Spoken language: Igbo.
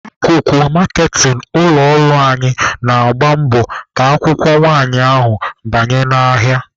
Akụkụ maaketịn ụlọ ọrụ anyị na-agba mbọ ka akwụkwọ nwanyị ahụ banye n'ahịa.